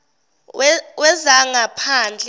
wezangaphandle